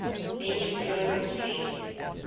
ancient roman street